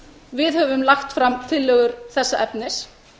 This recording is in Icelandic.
við höfum lagt fram tillögur þessa efnis